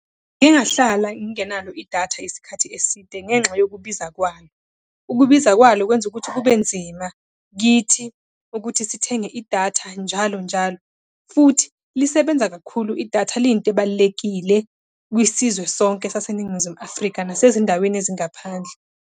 Ngike ngahlala ngingenalo idatha isikhathi eside ngenxa yokubiza kwalo. Ukubiza kwalo kwenza ukuthi kube nzima kithi ukuthi sithenge idatha njalo njalo, futhi lisebenza kakhulu idatha liyinto ebalulekile kwisizwe sonke saseNingizimu Afrika, nasezindaweni ezingaphandle.